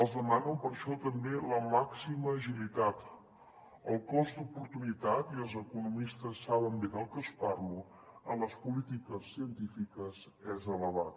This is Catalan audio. els demano per això també la màxima agilitat el cost d’oportunitat i els economistes saben bé de què els parlo en les polítiques científiques és elevat